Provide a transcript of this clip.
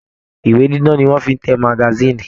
Ìwé dídán ni wọ́n fi ń te magasíìnì